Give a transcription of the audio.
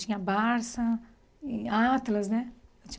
Tinha Barça, Atlas, né?